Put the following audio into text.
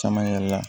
Caman yɛrɛ la